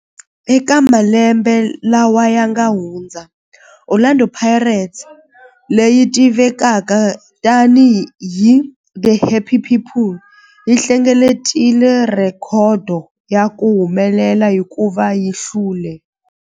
Eka malembe lawa yanga hundza, Orlando Pirates, leyi tivekaka tani hi 'The Happy People', yi hlengeletile rhekhodo ya ku humelela hikuva yi hlule